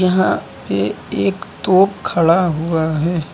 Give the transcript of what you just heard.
यहां ये एक तोप खड़ा हुआ है।